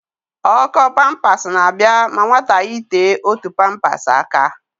Ọ́kọ́ pampas na-abịa ma nwata yitee otu pampas aka.